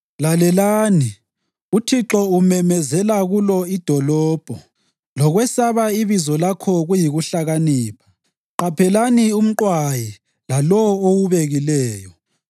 Lalelani! UThixo umemezela kulo idolobho, lokwesaba ibizo lakho kuyikuhlakanipha, “Qaphelani umqwayi laLowo owubekileyo.